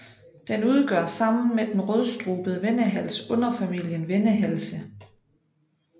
Den udgør sammen med den rødstrubede vendehals underfamilien vendehalse